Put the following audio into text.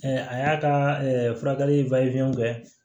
a y'a ka furakɛli kɛ